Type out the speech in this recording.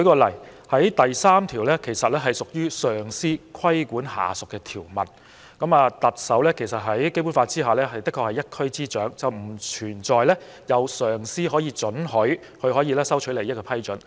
例如，第3條屬於上司規管下屬的條文，在《基本法》下，特首確實是一區之首，經上司批准收取利益的情況並不存在。